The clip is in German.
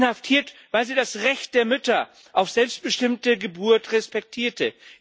Inhaftiert, weil sie das Recht der Mütter auf selbstbestimmte Geburt respektierte.